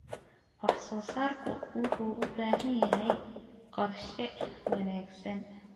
Wax soo saarku wuxuu u baahan yahay qorshe wanaagsan.